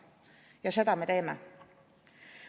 Ja seda me teeme.